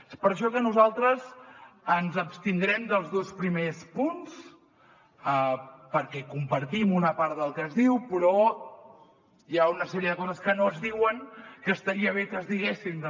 és per això que nosaltres ens abstindrem als dos primers punts perquè compartim una part del que s’hi diu però hi ha una sèrie de coses que no s’hi diuen que estaria bé que s’hi diguessin també